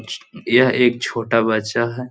यह एक छोटा बच्चा है।